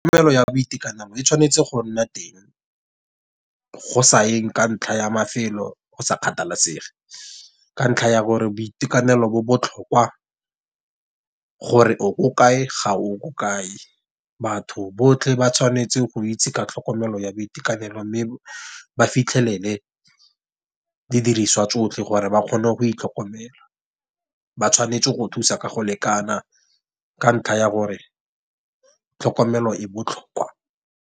Tlhokomelo ya boitekanelo e tshwanetse go nna teng, go sa eng ka ntlha ya mafelo go sa kgathalesege. Ka ntlha ya gore boitekanelo bo botlhokwa. Gore o ko kae ga o ko kae, batho botlhe ba tshwanetse goitse ka tlhokomelo ya boitekanelo, mme ba fitlhelele didiriswa tsotlhe gore ba kgone go itlhokomela. Ba tshwanetse go thusa ka go lekana ka ntlha ya gore tlhokomelo e botlhokwa.